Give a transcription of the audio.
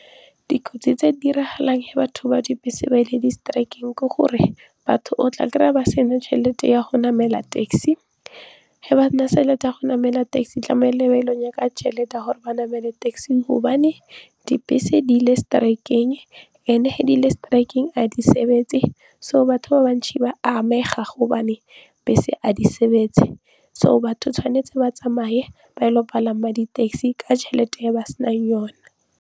Dikotsi tse di diragalang ge batho ba dibese ba ile di-strike-eng ke gore batho o tla kry-a ba sena tšhelete ya go namela taxi ge ba se na tšhelete ya go namela taxi tlamile ba ile go batla tšhelete gore ba namele taxi gobane dibese di ile strike-eng and-e ge di ile strike-eng ga di sebetse so batho ba bantsi ba amega gobane bese ga di sebetse so batho tshwanetse ba tsamaye ba ilo palama di-taxi ka tšhelete e ba senang yone.